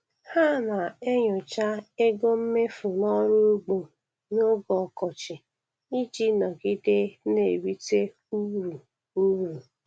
Ha na-enyocha ego mmefu n'ọrụ ugbo n'oge ọkọchị iji nọgide n'erite uru uru